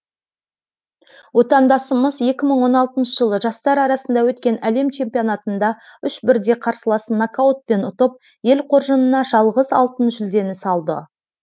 отандасымыз екі мың он алтыншы жылы жастар арасында өткен әлем чемпионатында үш бірдей қарсыласын нокаутпен ұтып ел қоржынына жалғыз алтын жүлдені салды